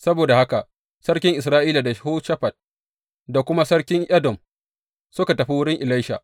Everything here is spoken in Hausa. Saboda haka sarkin Isra’ila da Yehoshafat da kuma sarkin Edom suka tafi wurin Elisha.